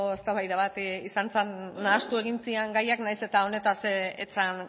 eztabaida bat izan zen nahastu egin ziren gaiak nahiz eta honetaz ez zen